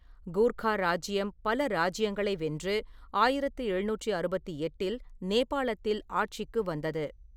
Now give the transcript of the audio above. கூர்க்கா இராஜ்ஜியம் பல இராஜ்ஜியங்களை வென்று ஆயிரத்து எழுநூற்று அறுபத்து எட்டில் நேபாளத்தில் ஆட்சிக்கு வந்தது.